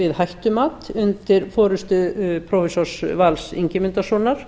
við hættumat undir forustu prófessors vals ingimundarsonar